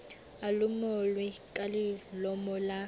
a lomolwe ka lelomolo la